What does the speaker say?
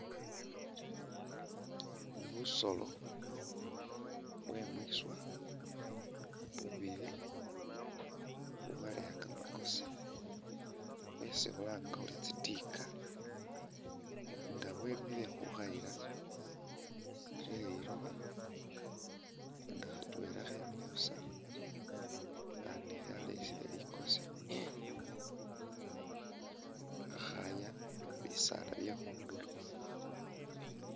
Busoolo bwe mwiswa bubili ubwaleya kamakosi bwesi khulanga khuri tsitiika nga bwemile khukhayila khe lilooba nga khatwela khemiile busa akhandi khaleyesele likoosi khakhaaya bisaala bye khunduro.